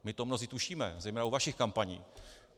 My to mnozí tušíme, zejména u vašich kampaní.